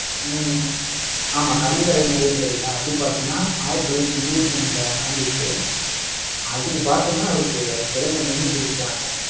ஹம் ஆமா, கள்ளுக்கடை மறியல் சொன்னல்ல. அது பாத்தீங்கன்னா, ஆயிரத்தி தொள்ளாயிரத்தி இருபத்தி ஒண்ணுல நடந்திருக்கு. அதுக்கு பாத்தீங்கன்னா, அவருக்கு சிறை தண்டனையே கொடுத்துட்டாங்க